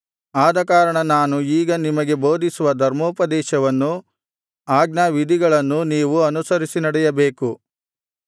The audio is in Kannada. ಆದಕಾರಣ ನಾನು ಈಗ ನಿಮಗೆ ಬೋಧಿಸುವ ಧರ್ಮೋಪದೇಶವನ್ನೂ ಆಜ್ಞಾವಿಧಿಗಳನ್ನೂ ನೀವು ಅನುಸರಿಸಿ ನಡೆಯಬೇಕು